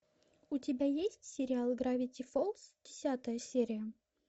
у тебя есть сериал гравити фолз десятая серия